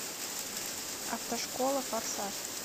автошкола форсаж